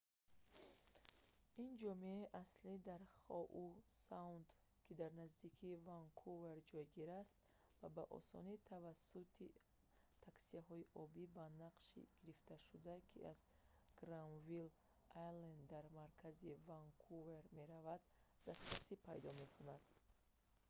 ин ҷомеаи аслӣ дар хоу саунд ки дар наздикии ванкувер ҷойгир аст ва ба осонӣ тавассути таксиҳои обии ба нақша гирифташуда ки аз гранвилл айленд дар маркази ванкувер мераванд дастрасӣ пайдо мекунанд